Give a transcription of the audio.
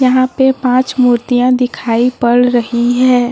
यहां पे पांच मूर्तियां दिखाई पड़ रही है ।